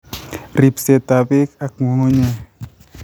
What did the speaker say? RIPSETAB BEEK AK NG'UNG'UNYEK